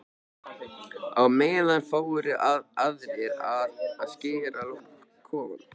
Á meðan fóru aðrir í að skreyta kofann.